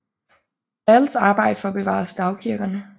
Dahls arbejde for at bevare stavkirkerne